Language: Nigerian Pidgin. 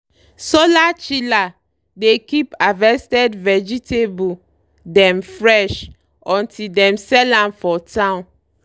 solar chiller dey keep harvested vegetable dem fresh until dem sell am for town.